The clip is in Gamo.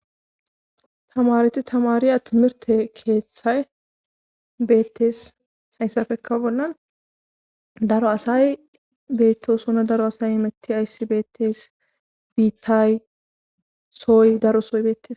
tamareti tamariya timirte keeththay beettes hayssafeka bollan daro asay beettosuna daro asay imetti ayssi beettes biittay soy daro soy bettes